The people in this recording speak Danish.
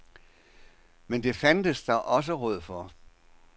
Men det fandtes der også råd for.